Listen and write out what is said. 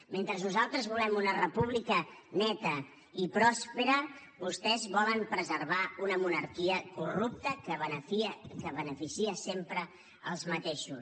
mentre nosaltres volem una república neta i pròspera vostès volen preservar una monarquia corrupta que beneficia sempre els mateixos